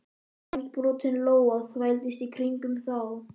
Vængbrotin lóa þvældist í kringum þá.